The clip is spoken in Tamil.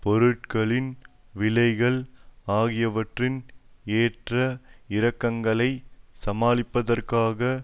பொருட்களின் விலைகள் ஆகியவற்றின் ஏற்ற இறக்கங்களை சமாளிப்பதற்காக